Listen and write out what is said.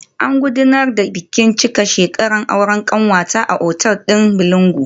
An gudanar da bikin cika shekaran aure kanwata a otal din Bolingo